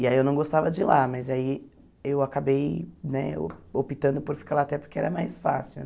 E aí eu não gostava de ir lá, mas aí eu acabei né optando por ficar lá até porque era mais fácil.